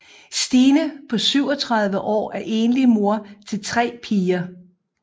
Stine på 37 år er enlig mor til tre piger